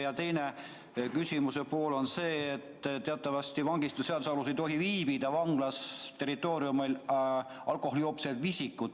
Ja teine pool küsimusest on see, et teatavasti vangistusseaduse alusel ei tohi vangla territooriumil viibida alkoholijoobes isikud.